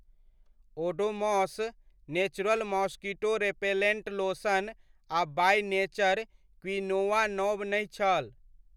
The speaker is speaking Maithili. Odomos natural mosquito repellent lotion आ बाय नेचर क्विनोआ नव नहि छल।